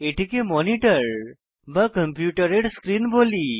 এটিকে মনিটর বা কম্পিউটারের স্ক্রীন বলি